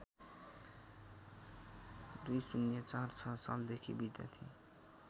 २०४६ सालदेखि विद्यार्थी